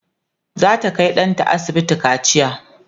zata Kai ɗanta asibiti kaciya